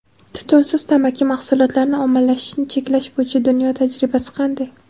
Tutunsiz tamaki mahsulotlarini ommalashishini cheklash bo‘yicha dunyo tajribasi qanday?.